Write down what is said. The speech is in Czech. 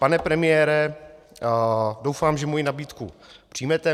Pane premiére, doufám, že moji nabídku přijmete.